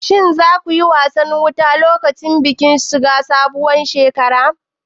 Shin za ku yi wasan wuta lokacin bikin shiga sabuwar shekara?